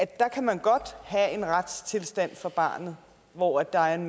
der kan man godt have en retstilstand for barnet hvor der er en